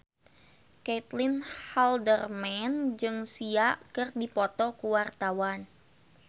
Caitlin Halderman jeung Sia keur dipoto ku wartawan